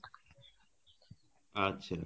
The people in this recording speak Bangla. আচ্ছা